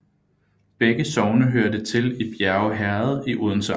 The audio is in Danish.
Begge sogne hørte til Bjerge Herred i Odense Amt